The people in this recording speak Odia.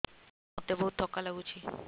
ମୋତେ ବହୁତ୍ ଥକା ଲାଗୁଛି